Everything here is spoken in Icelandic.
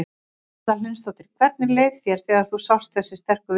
Erla Hlynsdóttir: Hvernig leið þér þegar þú sást þessi sterku viðbrögð?